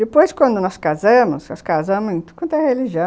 Depois quando nós casamos, nós casamos em toda religião.